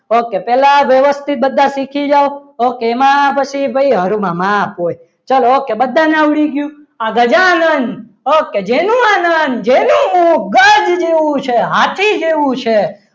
okay પહેલા વ્યવસ્થિત બધા શીખી જાઓ okay એમાં પછી ફરવા માપ હોય ચલો okay બધાને આવડી ગયું. આ ગજાનંદ okay જેનું આનંદ જેનું મુક ગજ જેવું છે હાથી જેવું છે.